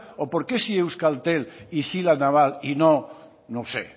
o porque sí euskaltel y sí la naval y no no sé